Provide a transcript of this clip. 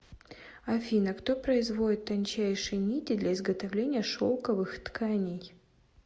афина кто производит тончайшие нити для изготовления шелковых тканей